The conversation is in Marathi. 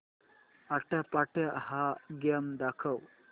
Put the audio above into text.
आट्यापाट्या हा गेम दाखव